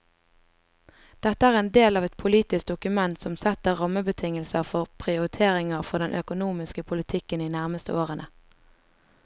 Dette er en del av et politisk dokument som setter rammebetingelser for prioriteringer for den økonomiske politikken de nærmeste årene.